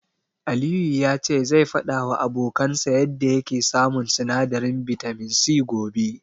Aliyu ya ce zai faɗawa abokansa yanda yake samun sinadarin bitamin C gobe.